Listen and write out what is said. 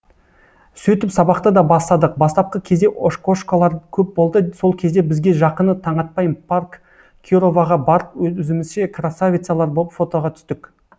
сөйтіп сабақты да бастадық бастапқы кезде ошкошкалар көп болды сол кезде бізге жақыны таңатпай парк кироваға барып өзімізше красавицалар боп фотоға түстік